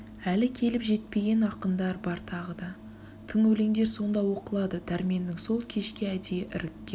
әлі келіп жетпеген ақындар бар тағы да тың өлендер сонда оқылады дәрменнің сол кешке әдейі іріккен